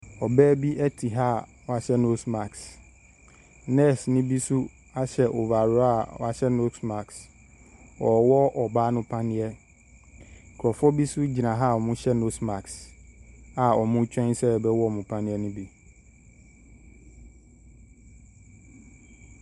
Ɔbaa bi te ha wahyɛ nose marsk. Nurse bi nso ahyɛ overall a wahyɛ nose marsk. Ɔrewɔ ɔbaa no paneɛ. Nkrɔfoɔ bi nso gyina ha wɔhyɛ nose marks a wɔretwɛn sɛ yɛbɛwɔ wɔn paneɛ no bi.